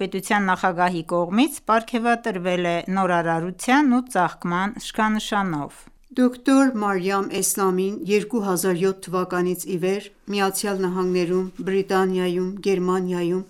ԻԻՀ նախագահի կողմից պարգևատրվել է նորարարության ու ծաղկման շքանշանով։ Դոկտոր Մարիամ Էսլամին 2007 թվականից իվեր ԱՄՆ-ում, Բրիտանիայում, Գերմանիայում,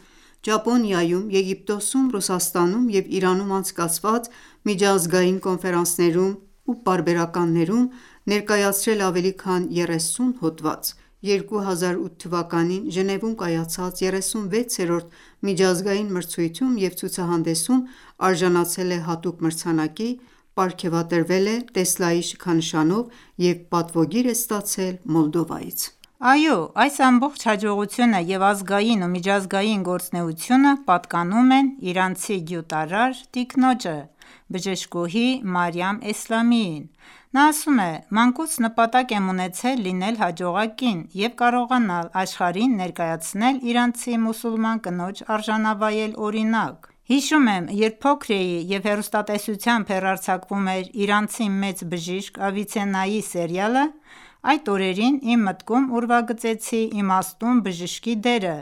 Ճապոնիայում, Եգիպտոսում, Ռուսաստանում և Իրանում անցկացված միջազգային կոնֆերանսներում ու պարբերականներում ներկայացրել է ավելի քան 30 հոդված։ 2008թ. Ժնևում կայացած 36-րդ միջազգային մրցույթում և ցուցահանդեսում, արժանացել է հատուկ մրցանակի, պարգևատրվել է Տեսլայի շքանշանով և պատվոգիր է ստացել Մոլդովայից։ Այո այս ամբողջ հաջողությունը և ազգային ու միջազգային գործունեությունը պատկանում են իրանցի գյուտարար տիկնոջը՝ բժշկուհի Մարիամ Էսլամիին։ Նա ասում է․-«Մանկուց նպատակ եմ ունեցել լինել հաջողակ կին և կարողանալ աշխարհին ներկայացնել իրանցի մուսուլման կնոջ արժանավայել օրինակ։ Հիշում եմ, երբ փոքր էի, և հեռուստատեսությամբ հեռարձակվում էր իրանցի մեծ բժշիկ Ավիցեննայի սերիալը, այդ օրերին իմ մտքում ուրվագծեցի իմաստուն բժշկի դերը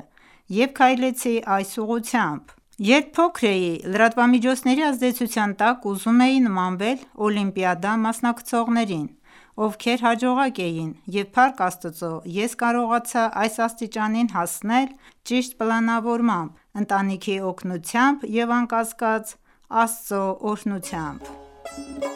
և քայլեցի այս ուղղությամբ։ Երբ փոքր էի, լրատվամիջոցների ազդեցության տակ ուզում էի նմանվել օլիմպիադա մասնակցողներին, ովքեր հաջողակ էին, և փառք Աստծո, ես կարողացա այս աստիճանին հասնել ճիշտ պլանավորմամբ, ընտանիքի օգնությամբ և, անկասկած, Աստծո օրհնությամբ»։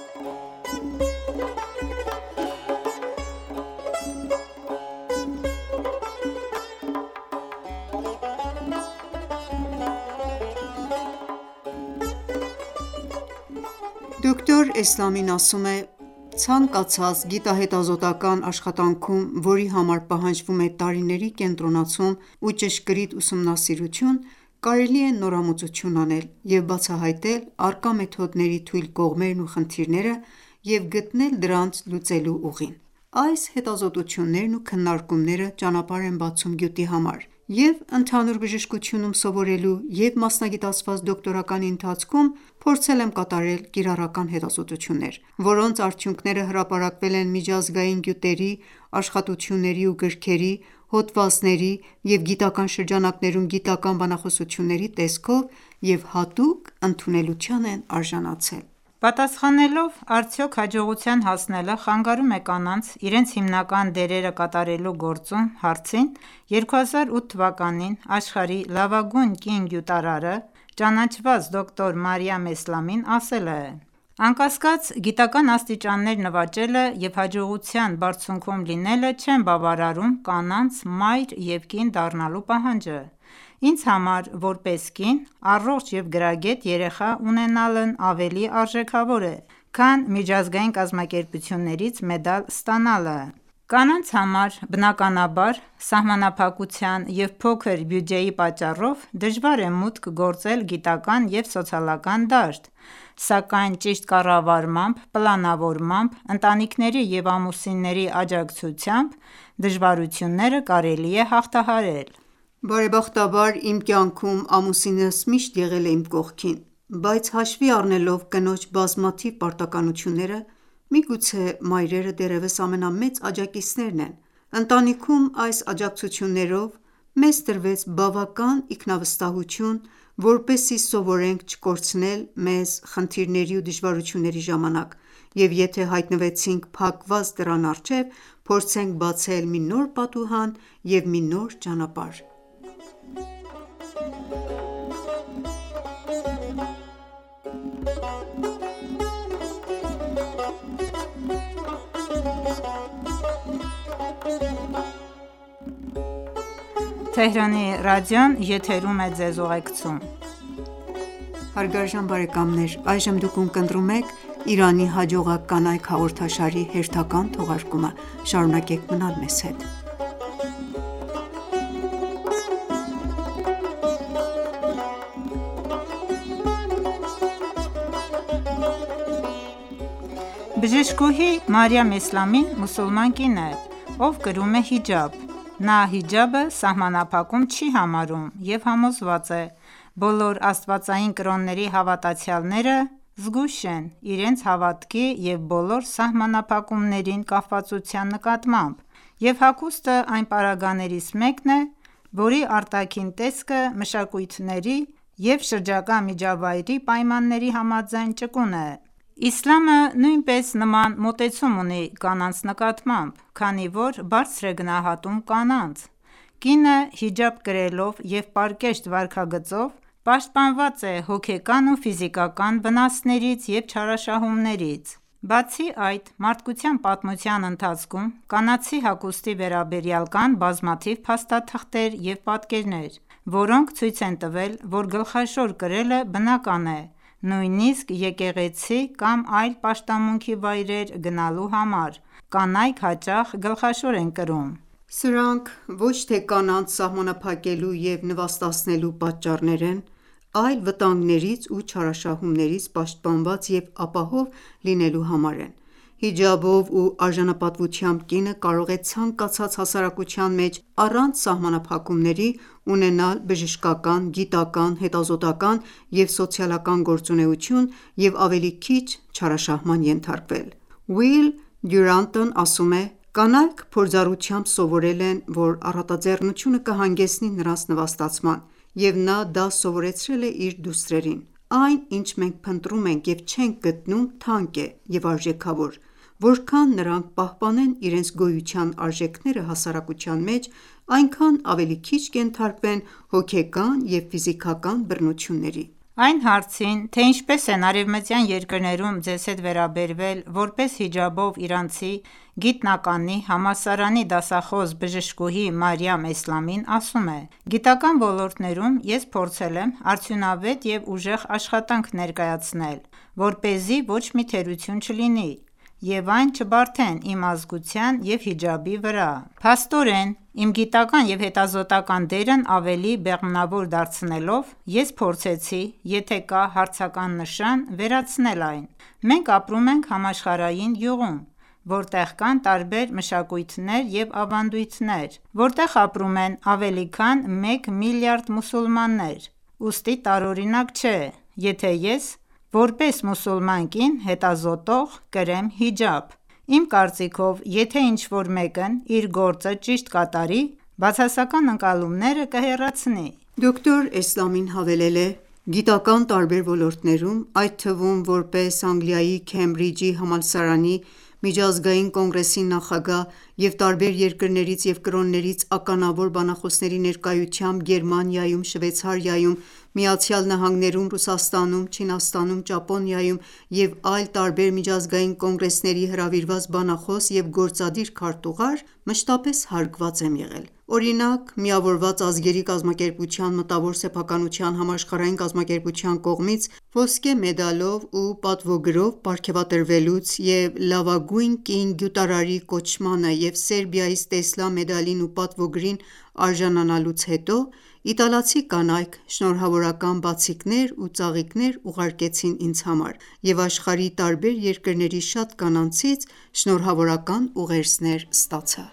Դոկտոր Էսլամին ասում է,-«Ցանկացած գիտահետազոտական աշխատանքում, որի համար պահանջվում է տարիների կենտրոնացում ու ճշգրիտ ուսումնասիրություն կարելի է նորամուծություն անել և բացահայտել առկա մեթոդների թույլ կողմերն ու խնդիրները և գտնել դրանց լուծելու ուղին»։ Այս հետազոտություններն ու քննարկումները ճանապարհ են բացում գյուտի համար։ Ե՛վ ընդհանուր բժշկությունում սովորելու, և՛ մասնագիտացված դոկտորականի ընթացքում փորձել եմ կատարել կիրառական հետազոտություններ, որոնց արդյունքները հրապարակվել են միջազգային գյուտերի, աշխատությունների ու գրքերի, հոդվածների, և գիտական շրջանակներում գիտական բանախոսությունների տեսքով և հատուկ ընդունելության են արժանացել։ Պատասխանելով «Արդյոք հաջողության հասնելը խանգարում է կանանց՝ իրենց հիմնական դերերը կատարելու գործում»հարցին, 2008թ.-ին Աշխարհի լավագույն կին գյուտարարը ճանաչված դոկտոր Մարիամ Էսլամին ասել է,-«Անկասկած, գիտական աստիճաններ նվաճելը և հաջողության բարձունքում լինելը չեն բավարարում կանանց մայր և կին դառնալու պահանջը: Ինձ համար՝ որպես կին, առողջ և գրագետ երեխա ունենալն ավելի արժեքավոր է, քան միջազգային կազմակերպություններից մեդալ ստանալը։ Կանանց համար, բնականաբար, սահմանափակության և փոքր բյուջեի պատճառով դժվար է մուտք գործել գիտական և սոցիալական դաշտ, սակայն ճիշտ կառավարմամբ, պլանավորմամբ, ընտանիքների և ամուսինների աջակցությամբ դժվարությունները կարելի է հաղթահարել»։ Բարեբախտաբար, իմ կյանքում ամուսինս միշտ եղել է իմ կողքին, բայց հաշվի առնելով կնոջ բազմաթիվ պարտականությունները, միգուցե մայրերը դեռևս ամենամեծ աջակիցներն են։ Ընտանիքում այս աջակցություններով մեզ տրվեց բավական ինքնավստահություն, որպեսզի սովորենք չկորցնել մեզ խնդիրների ու դժվարությունների ժամանակ և եթե հայտնվեցինք փակված դռան առջև, փորձենք բացել մի նոր պատուհան ու մի նոր ճանապարհ»: Բժշկուհի Մարիամ Էսլամին մուսուլման կին է, ով կրում է հիջաբ: Նա հիջաբը սահմանափակում չի համարում և համոզված է.«Բոլոր աստվածային կրոնների հավատացյալները զգույշ են իրենց հավատքի և բոլոր սահմանափակումներին կապվածության նկատմամբ, և հագուստը այն պարագաներից մեկն է, որի արտաքին տեսքը մշակույթների և շրջակա միջավայրի պայմանների համաձայն ճկուն է: Իսլամը նույնպես նման մոտեցում ունի կանանց նկատմամբ, քանի որ բարձր է գնահատում կանանց: Կինը հիջաբ կրելով և պարկեշտ վարքագծով պաշտպանված է հոգեկան ու ֆիզիկական վնասներից և չարաշահումներից: Բացի այդ, մարդկության պատմության ընթացքում կանացի հագուստի վերաբերյալ կան բազմաթիվ փաստաթղթեր և պատկերներ, որոնք ցույց են տվել, որ գլխաշոր կրելը բնական է, նույնիսկ եկեղեցի կամ այլ պաշտամունքի վայրեր գնալու համար կանայք հաճախ գլխաշոր են կրում: Սրանք ոչ թե կանանց սահմանափակելու և նվաստացնելու պատճառներ են, այլ վտանգներից ու չարաշահումներից պաշտպանված և ապահով լինելու համար են։ Հիջաբով ու արժանապատվությամբ կինը կարող է ցանկացած հասարակության մեջ առանց սահմանափակումների ունենալ բժշկական, գիտական, հետազոտական և սոցիալական գործունեություն և ավելի քիչ չարաշահման ենթարկվել։ Ուիլ Դյուրանտն ասում է. «Կանայք փորձառությամբ սովորել են, որ առատաձեռնությունը կհանգեցնի նրանց նվաստացման, և նա դա սովորեցրել է իր դուստրերին: Այն, ինչ մենք փնտրում ենք և չենք գտնում, թանկ է և արժեքավոր: Որքան նրանք պահպանեն իրենց գոյության արժեքները հասարակության մեջ, այնքան ավելի քիչ կենթարկվեն հոգեկան և ֆիզիկական բռնությունների»: Այն հարցին թե՝ ինչպես են արևմտյան երկրներում ձեզ հետ վերաբերվել որպես հիջաբով իրանցի գիտնականի, համալսարանի դասախոս բժշկուհի Մարիամ Էսլամին ասում է.- «Գիտական ոլորտներում ես փորձել եմ արդյունավետ ու ուժեղ աշխատանք ներկայացնել, որպեսզի ոչ մի թերություն չլինի և այն չբարդեն իմ ազգության և հիջաբի վրա։ Փաստորեն, իմ գիտական և հետազոտական դերն ավելի բեղմնավոր դարձնելով, ես փորձեցի եթե կա հարցական նշան, վերացնել այն: Մենք ապրում ենք համաշխարհային գյուղում, որտեղ կան տարբեր մշակույթներ և ավանդույթներ, որտեղ ապրում են ավելի քան մեկ միլիարդ մուսուլմաններ, ուստի տարօրինակ չէ, եթե ես՝ որպես մուսուլման կին հետազոտող, կրեմ հիջաբ: Իմ կարծիքով, եթե ինչ-որ մեկն իր գործը ճիշտ կատարի, բացասական ընկալումները կհեռացնի։ Դոկտոր Էսլամին հավելել է․-«Գիտական տարբեր ոլորտներում, այդ թվում՝ որպես Անգլիայի Քեմբրիջի համալսարանի միջազգային կոնգրեսի նախագահ և տարբեր երկրներից և կրոններից ականավոր բանախոսների ներկայությամբ Գերմանիայում, Շվեյցարիայում, Միացյալ Նահանգներում, Ռուսաստանում, Չինաստանում, Ճապոնիայում և այլ տարբեր միջազգային կոնգրեսների հրավիրված բանախոս և գործադիր քարտուղար, մշտապես հարգված եմ եղել: Օրինակ, Միավորված ազգերի կազմակերպության մտավոր սեփականության համաշխարհային կազմակերպության կողմից ոսկե մեդալով ու պատվոգրով պարգևատրվելուց և լավագույն կին գյուտարարի կոչմանը և Սերբիայից Տեսլա մեդալին ու պատվոգրին արժանանալուց հետո իտալացի կանայք շնորհավորական բացիկներ ու ծաղիկներ ուղարկեցին ինձ համար և աշխարհի տարբեր երկրների շատ կանանցից շնորհավորական ուղերձներ ստացա»։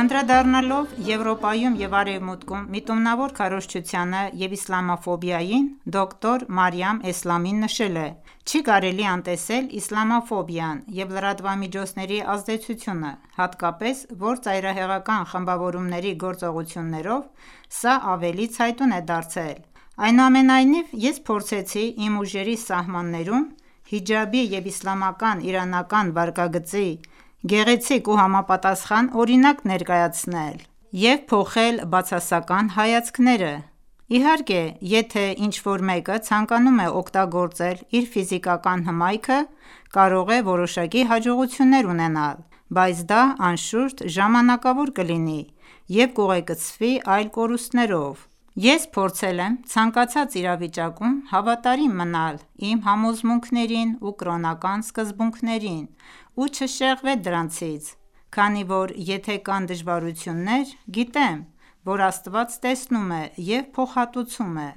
Անդրադառնալով Եվրոպայում և Արևմուտքում միտումնավոր քարոզչությանը և իսլամաֆոբիային՝ Դոկտոր Մարիամ Էսլամին նշել է. «Չի կարելի անտեսել իսլամաֆոբիան և լրատվամիջոցների ազդեցությունը։ Հատկապես, որ ծայրահեղական խմբավորումների գործողություններով սա ավելի ցայտուն է դարձել, այնուամենայնիվ, ես փորձեցի իմ ուժերի սահմաններում հիջաբի և իսլամական-իրանական վարքագծի գեղեցիկ ու համապատասխան օրինակ ներկայացնել և փոխել բացասական հայացքները։ Իհարկե, եթե ինչ-որ մեկը ցանկանում է օգտագործել իր ֆիզիկական հմայքը, կարող է որոշակի հաջողություններ ունենալ, բայց դա, անշուշտ, ժամանակավոր կլինի և կուղեկցվի այլ կորուստներով։ «Ես փորձել եմ ցանկացած իրավիճակում հավատարիմ մնալ իմ համոզմունքներին ու կրոնական սկզբունքներին ու չշեղվել դրանցից, քանի որ եթե կան դժվարություններ, գիտեմ, որ Աստված տեսնում է ու փոխհատուցում է»։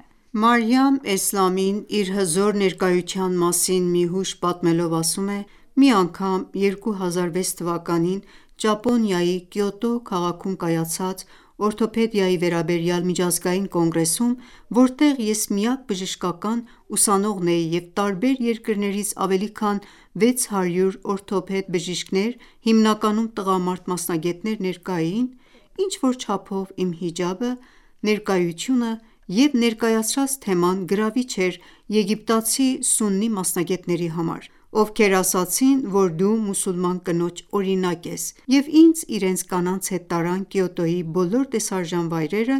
Մարիամ Էսլամին, իր հզոր ներկայության մասին մի հուշ պատմելով ասում է. «Մի անգամ՝ 2006 թվականին, Կիոտոյի (Ճապոնիա) օրթոպեդիայի վերաբերյալ միջազգային կոնգրեսում, որտեղ ես միակ բժշկական ուսանողն էի և տարբեր երկրներից ավելի քան 600 օրթոպեդ բժիշկներ՝ հիմնականում տղամարդ մասնագետներ ներկա էին, ինչ-որ չափով իմ հիջաբը, ներկայությունը և ներկայացրած թեման գրավիչ էր եգիպտացի սուննի մասնագետների համար, ովքեր ասացին, որ դու մուսուլման կնոջ օրինակ ես և ինձ իրենց կանանց հետ տարան Կիոտոյի բոլոր տեսարժան վայրերը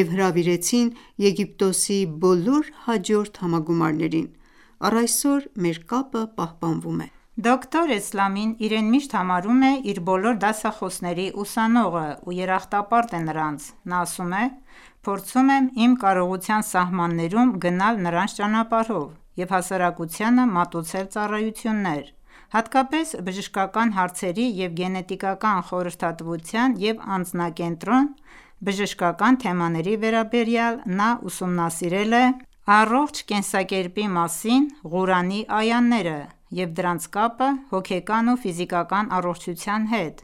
և հրավիրեցին Եգիպտոսի բոլոր հաջորդ համագումարներին:Առ այսօր մեր կապը պահպանվում է։ Դոկտոր Էսլամին իրեն միշտ համարում է իր բոլոր դասախոսների ուսանողը և երախտապարտ է նրանց։ Նա ասում է.-«Փորձում եմ իմ կարողության սահմաններում գնալ նրանց ճանապարհով և հասարակությանը մատուցել ծառայություններ։ Հատկապես բժշկական հարցերի և գենետիկական խորհրդատվության և անձակենտրոն բժշկական թեմաների վերաբերյալ նա ուսումնասիրել է առողջ կենսակերպի մասին Ղուրանի այաները և դրանց կապը հոգեական ու ֆիզիկական առողջության հետ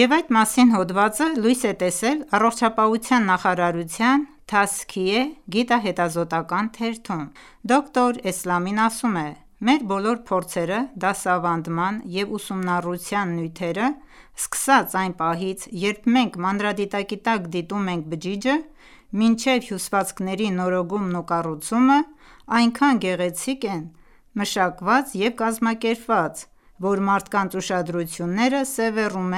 և այդ մասին հոդվածը լույս է տեսել Առողջապահության նախարարության «Թազիքե» գիտա-հետազոտական թերթում։ Դոկտոր Էսլամին ասում է. «Մեր բոլոր փորձերը դասավանդման և ուսումնառության նյութերը, սկսած այն պահից, երբ մենք մանրադիտակի տակ դիտում ենք բջիջը մինչև հյուսվածքների նորոգումն ու կառուցումը, այնքան գեղեցիկ են, մշակված և կազմակերպված, որ մարդկանց ուշադրությունները սևեռում